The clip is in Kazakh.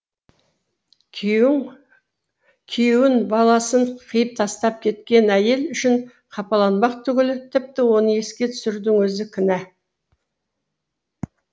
күйеуін күйеуін баласын қиып тастап кеткен әйел үшін қапаланбақ түгіл тіпті оны еске түсірудің өзі күнә